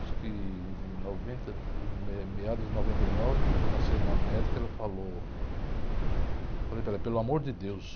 Acho que em noventa, me, meados de noventa e nove, passei em uma médica e ela falou, falei para ela, pelo amor de Deus,